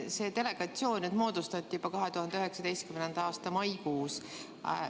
See delegatsioon moodustati juba 2019. aasta maikuus.